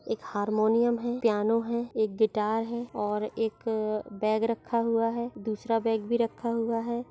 एक हारमोनियम है पियानो है एक गिटार है और एक बैग रखा हुआ हैं दूसरा बैग भी रखा हुआ हैं।